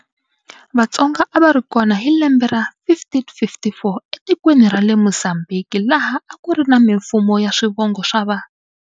Vatsonga a va ri kona hi lembe ra 1554 etikweni ra le Mozambique laha a kuri na mimfumo ya swivongo swa va.